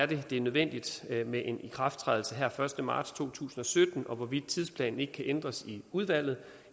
det er nødvendigt med en ikrafttrædelse her den første marts to tusind og sytten og hvorvidt tidsplanen ikke kan ændres i udvalget